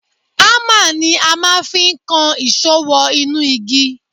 Ámà ni a máa fi ń kan ìṣó wọ inú igi